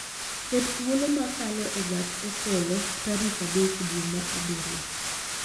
Ket thuolo ma kalo e gach okolo tarik adek dwe ma abiriyo